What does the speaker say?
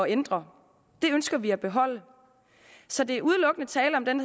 ændre det ønsker vi at beholde så der er udelukkende tale om den